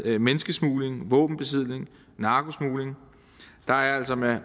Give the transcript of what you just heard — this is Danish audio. andet menneskesmugling våbenbesiddelse narkosmugling der er altså med